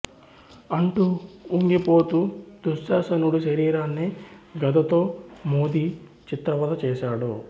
అంటూ ఉంగిపోతూ దుశ్శాసనుడి శరీరాన్ని గదతో మోది చిత్రవధ చేసాడు